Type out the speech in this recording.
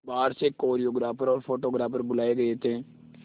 बाहर से कोरियोग्राफर और फोटोग्राफर बुलाए गए थे